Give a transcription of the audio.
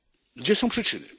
Gdzie są przyczyny?